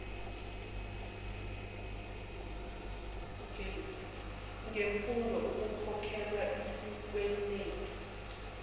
ngemfundo ukukhokhelwa izikwenetu